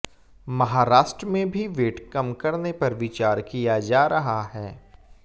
महाराष्ट्र में भी वेट कम करने पर विचार किया जा रहा है